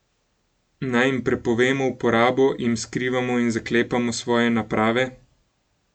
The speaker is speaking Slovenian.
Naj jim prepovemo uporabo, jim skrivamo in zaklepamo svoje naprave?